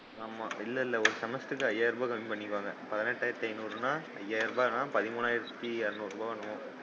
ஆமா இல்லையில்லை ஒரு semester க்கு அய்யாயிர ரூபாய் கம்மி பண்ணிப்பாங்க, பதினேட்டாயிரத்தி ஐநூருன்னா அய்யாயிர ரூபான்னா பதிமூனாயிரத்தி இருநூறு ரூபாயோ என்னமோ வரும்.